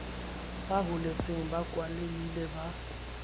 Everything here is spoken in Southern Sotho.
a holetseng ba kwalehile ba